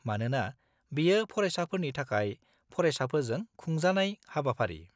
मानोना बेयो फरायसाफोरनि थाखाय फरायसाफोरजों खुंजाखानाय हाबाफारि।